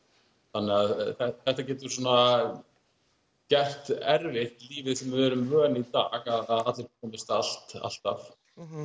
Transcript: þannig þetta getur gert erfitt því lífi sem við erum vön í dag að allir komist allt alltaf